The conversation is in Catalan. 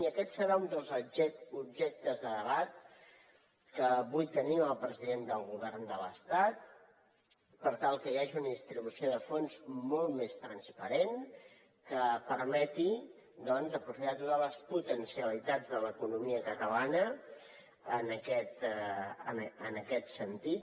i aquest serà un dels objectes de debat que vull tenir amb el president del govern de l’estat per tal que hi hagi una distribució de fons molt més transparent que permeti aprofitar totes les potencialitats de l’economia catalana en aquest sentit